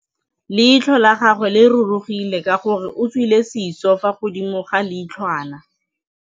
Leitlhô la gagwe le rurugile ka gore o tswile sisô fa godimo ga leitlhwana.